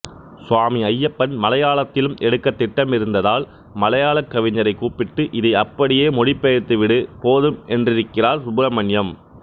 சுவாமி ஐயப்பன் மலையாளத்திலும் எடுக்க திட்டமிருந்ததால் மலையாளக்கவிஞரை கூப்பிட்டு இதை அப்படியே மொழி பெயர்த்து விடு போதும் என்றிருக்கிறார் சுப்ரமண்யம்